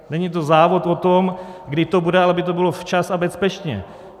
Není to závod o to, kdy to bude, ale aby to bylo včas a bezpečně.